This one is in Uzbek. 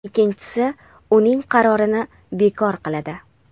ikkinchisi uning qarorini bekor qiladi.